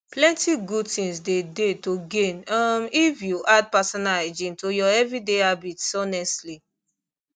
plenty good things dey dey to gain um if you add personal hygiene to your everyday habits honestly